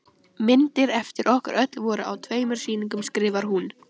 Myndir eftir okkur öll voru á tveimur sýningum skrifar hún.